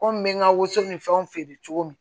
Komi n bɛ n ka woso ni fɛnw feere cogo min